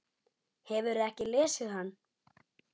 Hefurðu ekki lesið hann?